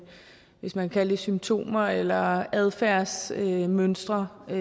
hvis man kan sige det symptomer eller adfærdsmønstre så